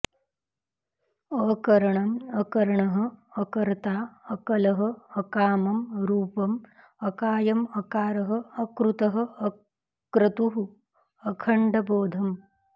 अकरणम् अकर्णः अकर्ता अकलः अकामं रूपम् अकायम् अकारः अकृतः अक्रतुः अखण्डबोधम्